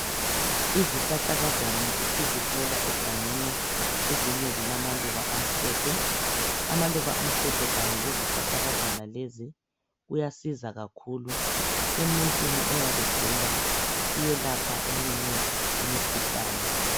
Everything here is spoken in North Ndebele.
Izihlahlakazana esizithola egangeni ezinye zilamaluba amhlophe. Amaluba amhlophe kanye lezihlahlakazana lezi kuyasiza kakhulu emuntwini oyabegula, kuyelapha eminye imikhuhlane.